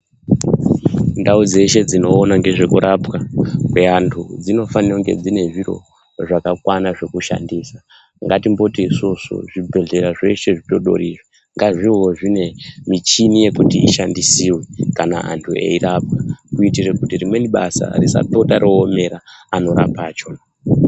Ndau dzeshe dzinoona ngezvekurapwa kweantu, dzinofana kunge dzine zviro zvakakwana zvekushandisa .Ngatimboti isusu, zvibhedhlera zveshe zvidodori izvi ngazvivewo zvine michini yekuti ishandisiwe kana antu eirapwa, kuitire kuti rimweni basa risapota roomera, anorapa achona.